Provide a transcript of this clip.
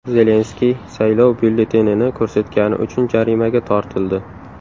Zelenskiy saylov byulletenini ko‘rsatgani uchun jarimaga tortildi.